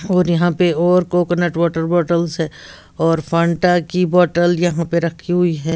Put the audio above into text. और यहाँ पे और कोकोनट वॉटर बॉटल्स हैं और फंटा की बॉटल यहाँ पे रखी हुई है।